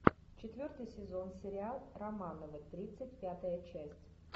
четвертый сезон сериал романовы тридцать пятая часть